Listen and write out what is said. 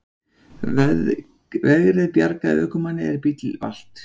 Vegrið bjargaði ökumanni er bíll valt